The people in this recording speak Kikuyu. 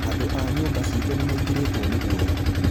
Andũa nyũmba ciitũnĩ maingĩrĩtwo nĩ gwoya